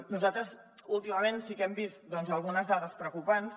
nosaltres últimament sí que hem vist algunes dades preocupants